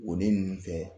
Woden nunnu fɛ